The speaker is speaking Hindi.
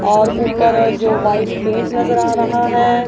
और ऊपर जो वाइट पेंट नजर आ रहा है।